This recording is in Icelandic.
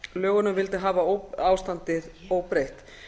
starfsmannalögunum og vildi hafa ástandið óbreytt